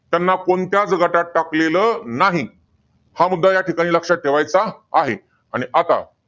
त्यांना कोणत्याच गटात टाकलेलं नाही. हा मुद्दा या ठिकाणी लक्षात ठेवायचा आहे. आणि आता,